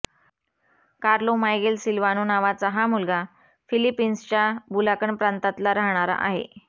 Carlo Miguel Silvano नावाचा हा मुलगा फिलिपिन्सच्या बुलाकन प्रांतातला राहणारा आहे